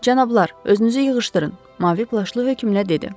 Cənablar, özünüzü yığışdırın, mavi plaşlı hökmlə dedi.